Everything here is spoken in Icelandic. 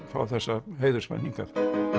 fá þessa heiðursmenn hingað